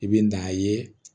I bɛ n'a ye